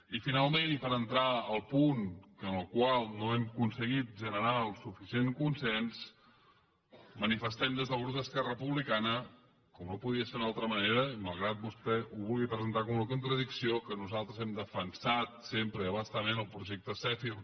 i finalment i per entrar al punt en el qual no hem acon seguit generar suficient consens manifestem des del grup d’esquerra republicana com no podia ser d’una altra manera i malgrat que vostè ho vulgui presentar com una contradicció que nosaltres hem defensat sempre i a bastament el projecte zèfir